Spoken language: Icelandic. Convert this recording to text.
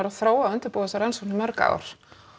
að þróa og undirbúa þessa rannsókn í mörg ár